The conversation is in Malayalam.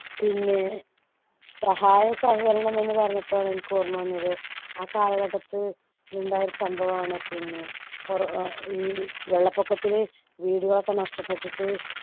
പിന്നെ സഹായസഹകരണമെന്ന് പറഞ്ഞപ്പഴാണ് എനിക്ക് ഓർമ്മ വന്നത് ആ കാലഘട്ടത്ത് ഉണ്ടായ സംഭവമാണ് പിന്നെ കൊറോ ഈ വെള്ളപ്പൊക്കത്തിൽ വീടുകളൊക്കെ നഷ്ടപ്പെട്ടിട്ട്